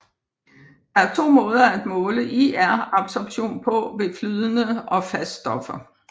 Der er to måder at måle IR absorption på ved flydende og fast stoffer